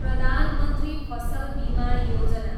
प्रधान मन्त्री फसल बीमा योजना